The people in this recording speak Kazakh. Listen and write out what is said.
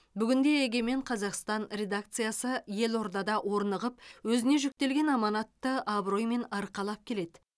бүгінде егемен қазақстан редакциясы елордада орнығып өзіне жүктелген аманатты абыроймен арқалап келеді